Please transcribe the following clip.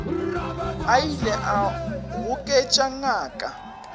a ile a goketša ngaka